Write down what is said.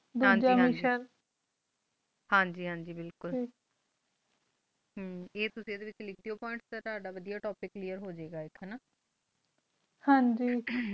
ਹਨ ਜੀ ਹਨ ਜੀ ਹਨ ਜੀ ਹਨ ਜੀ ਬਿਲਕੁਲ ਹਮ ਆ ਤੁਸੀਂ ਆ ਦੇ ਵਿਚ ਲਿਖ੍ਦਿਓ ਪੋਇੰਟ੍ਸ ਟੀ ਤਾਦਾ topic clare ਟੋਪਿਕ ਕਲੇਅਰ ਹੋ ਗਈ ਗੋ ਇਥੋਂ ਨਾ ਹਨ ਜੀ ਹਮ